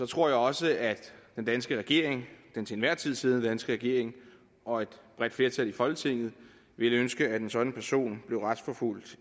tror jeg også at den danske regering den til enhver tid siddende danske regering og et bredt flertal i folketinget ville ønske at en sådan person blev retsforfulgt